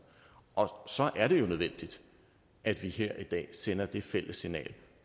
og så er det jo nødvendigt at vi her i dag sender det fælles signal